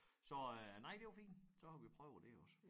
Så øh nej det var fint så har vi prøvet det også